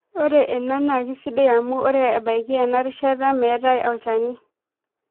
Ore ena naa kisidai amu ore ebaiki enarishata metaa olchani.